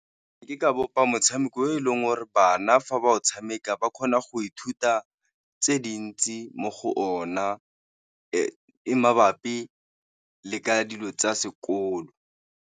Ke ka bopa motshameko e leng ora bana fa ba o tshameka ba kgona go ithuta tse dintsi mo go ona, e mabapi le ka dilo tsa sekolo.